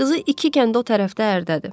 Qızı iki kənd o tərəfdə ərdədir.